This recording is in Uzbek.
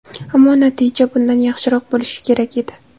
Ammo natija bundan yaxshiroq bo‘lishi kerak edi.